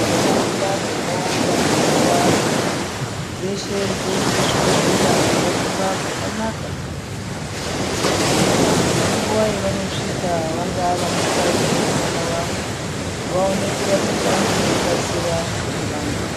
Ntaraunda dzakawanda mazuvaano dzeshe dzoita zvibhedhlera zvakakura zvakanaka kuitire kuti vantu ngenguva yavanosvika vangaa vanakadzi nevana vavo vaone kurapika ngekukasira nevana.